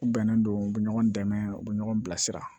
U bɛnnen don u bɛ ɲɔgɔn dɛmɛ u bɛ ɲɔgɔn bilasira